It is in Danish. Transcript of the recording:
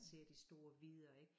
Ser de store vidder ik